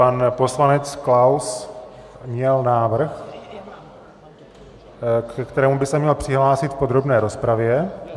Pan poslanec Klaus měl návrh, ke kterému by se měl přihlásit v podrobné rozpravě.